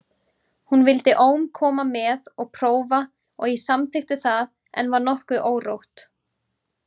Hún vildi ólm koma með og prófa og ég samþykkti það en var nokkuð órótt.